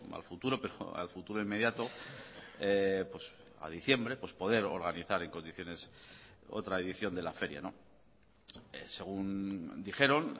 al futuro pero al futuro inmediato a diciembre pues poder organizar en condiciones otra edición de la feria según dijeron